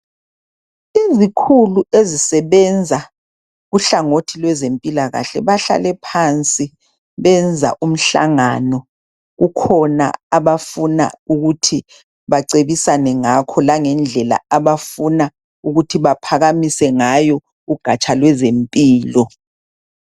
Izikhulu ezisebenza kuhlangothi lwezempilakahle bahlale phansi benza umhlangano kukhona abafuna ukuthi bacebisane ngakho langendlela abafuna ukuthi baphakamise ngayo ugatsha lwezempilo .